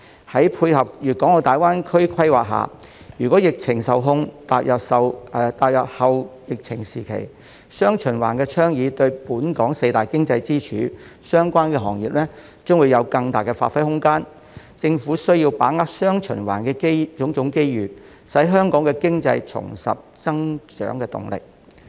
在配合粵港澳大灣區規劃下，如果疫情受控，踏入後疫情時期，"雙循環"倡議對本港四大經濟支柱相關行業將有更大的發揮空間，政府需要把握"雙循環"的種種機遇，使香港經濟重拾增長動力。